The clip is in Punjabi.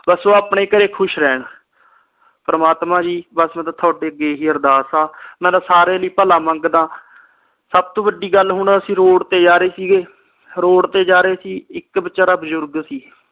ਬਸ ਉਹ ਆਪਣੇ ਘਰ ਖੁਸ਼ ਰਹਿਣ ਪ੍ਰਮਾਤਮਾ ਜੀ ਬਸ ਮੈਂ ਤਾ ਤੁਹਾਡੇ ਅੱਗੇ ਹੀ ਅਰਦਾਸ ਆ ਮੈਂ ਤਾ ਸਾਰਿਆਂ ਲਈ ਭਲਾ ਮੰਗਦਾ ਸਬ ਤੋਂ ਵਡੀ ਗੱਲ ਹੁਣ ਅਸੀ ਰੋਡ ਤੇ ਜਾ ਰਹੇ ਸੀ ਗੇ ਰੋਡ ਤੇ ਜਾ ਰਹੇ ਸੀ ਇਕ ਵਿਚਾਰਾਂ ਬਜ਼ੁਰਗ ਸੀ